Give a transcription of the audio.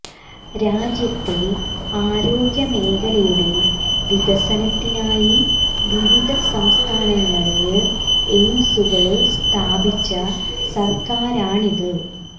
രാജ്യത്തെ ആരോഗ്യ മേഖലയുടെ വികസനത്തിനായി വിവിധ സംസ്ഥാനങ്ങളില് എയിംസുകള് സ്ഥാപിച്ച സര്ക്കാരാണിത്